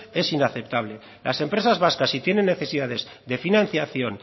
es inaceptable las empresas vascas si tienen necesidades de financiación